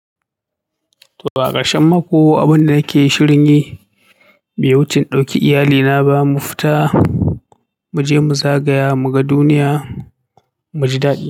To a ƙarshe mako abin da yake shirin yi bai wuce na ɗauke iyalina ba mu fita, mu je mu zagaya mu ga duniya, mu ji daɗi.